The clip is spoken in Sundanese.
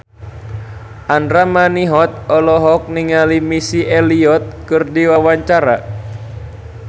Andra Manihot olohok ningali Missy Elliott keur diwawancara